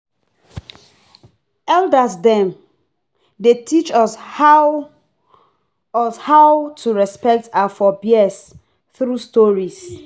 Elder dem dey teach us how us how to respect our forebears through stories.